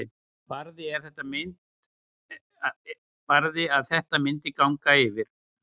Barði að þetta myndi ganga yfir.